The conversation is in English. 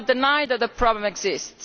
We cannot deny that the problem exists,